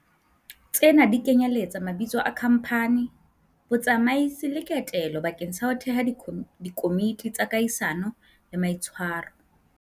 Tsena di kenyeletsa mabitso a khamphani, botsamaisi le kotelo bakeng sa ho theha dikomiti tsa kahisano le maitshwaro.